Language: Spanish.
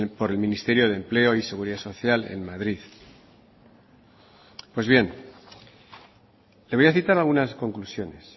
por el ministerio de empleo y seguridad social en madrid pues bien le voy a citar algunas conclusiones